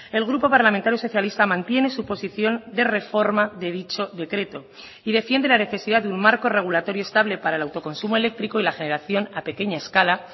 el grupo parlamentario socialista mantiene su posición de reforma de dicho decreto y defiende la necesidad de un marco regulatorio estable para el autoconsumo eléctrico y la generación a pequeña escala